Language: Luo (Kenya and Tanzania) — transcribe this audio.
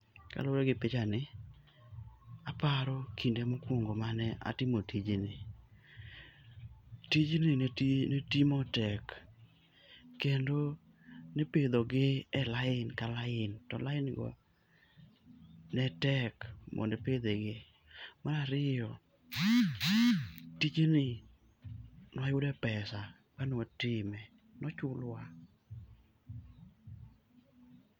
Kaluwore gi pichani, aparo kinde mokwongo mane atimo tijni. Tijni ne timo tek, kendo nipidhogi e lain ka lain, to lain go netek mondo ipidhe gi. Marariyo, tijni nwayude pesa ka nwatime, nochulwa.